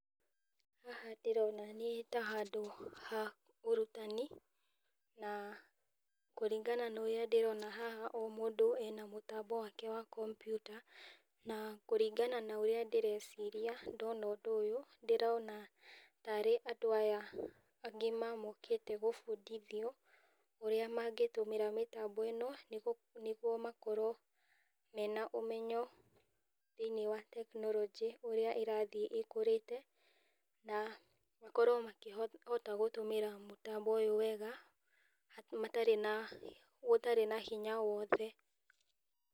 Haha ndĩrona nĩta handũ ha ũrutani, na kũringana na ũrĩa ndĩrona haha ũyũ mũndũ ena mũtambo wake wa kompiuta, na kũringana na ũrĩa ndĩreciria ndona ũndũ ũyũ, ndĩrona tarĩ andũ aya agima mokĩte gũbundithio ũrĩa mangĩtũmĩra mĩtambo ĩno, nĩguo makorwo mena ũmenyo thĩiniĩ wa tekinoronjĩ ũrĩa ĩrathiĩ ĩkũrĩte, na makorwo makĩhota gũtũmĩra mũtambo ũyũ wega matarĩ na, gũtarĩ na hinya wothe.